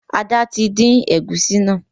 Ada tí dín egusi náa